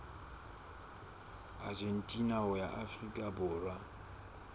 argentina ho ya afrika borwa